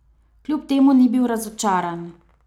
Kljub temu ni bil razočaran.